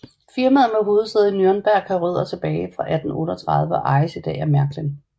Firmaet med hovedsæde i Nürnberg har rødder tilbage fra 1838 og ejes i dag af Märklin